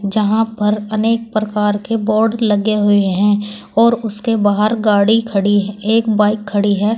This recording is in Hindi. जहां पर अनेक प्रकार के बोर्ड लगे हुए हैं और उसके बाहर गाड़ी खड़ी है एक बाइक खड़ी है।